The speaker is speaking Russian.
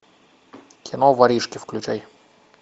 кино воришки включай